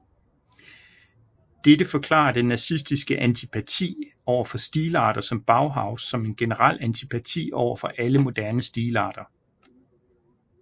Dette forklarer den nazistiske antipati overfor stilarter som Bauhaus som en generel antipati overfor alle moderne stilarter